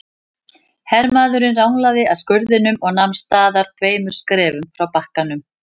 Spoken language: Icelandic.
Hermaðurinn ranglaði að skurðinum og nam staðar tveimur skrefum frá bakkanum.